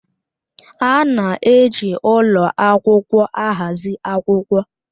A na-eji ụlọ akwụkwọ ahazi akwụkwọ